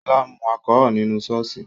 Sola mu alchol nínú ṣọ́ọ̀ṣì